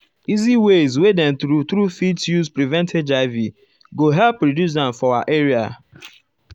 easy ways wey dem true true fit use prevent hiv go help reduce am for our area.